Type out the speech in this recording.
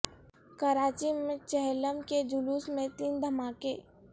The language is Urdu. کراچی میں چہلم کے جلوس میں تین دھماک ے